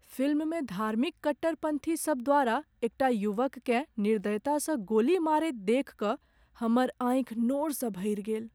फिल्ममे धार्मिक कट्टरपन्थी सभ द्वारा एकटा युवककेँ निर्दयतासँ गोली मारैत देखि कऽ हमर आँखि नोरसँ भरि गेल।